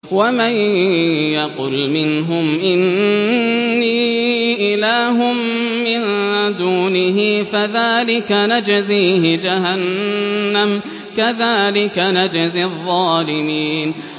۞ وَمَن يَقُلْ مِنْهُمْ إِنِّي إِلَٰهٌ مِّن دُونِهِ فَذَٰلِكَ نَجْزِيهِ جَهَنَّمَ ۚ كَذَٰلِكَ نَجْزِي الظَّالِمِينَ